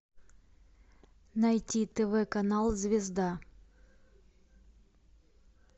найти тв канал звезда